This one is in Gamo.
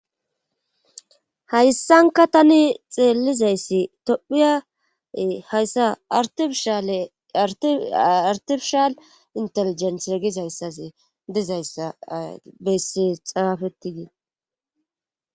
Hayssanka tani xeelizayssi tophiya hayssa artifishale artifishal inteligentre gizayssaze dizayssa besse xaafettidii.